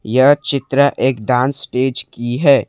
यह चित्र एक डांस स्टेज की है।